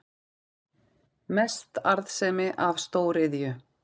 Mest arðsemi af stóriðju